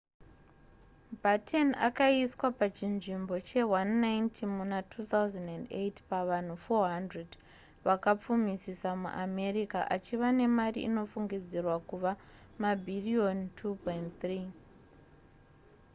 batten akaiswa pachinzvimbo che190 muna 2008 pavanhu 400 vakapfumisisa muamerica achiva nemari inofungidzirwa kuve mabhiriyoni $2.3